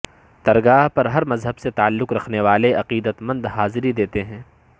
درگاہ پر ہر مذہب سے تعلق رکھنے والے عقیدت مند جاضری دیتے ہیں